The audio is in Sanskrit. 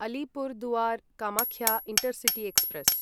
Alipurduar Kamakhya intercity express